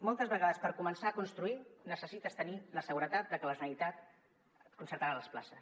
moltes vegades per començar a construir necessites tenir la seguretat de que la generalitat concertarà les places